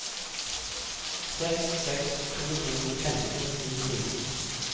seks seks to to femten ni hundre